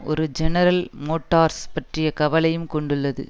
ஒரு General Motors பற்றிய கவலையும் கொண்டுள்ளது